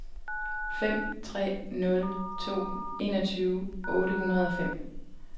fem tre nul to enogtyve otte hundrede og fem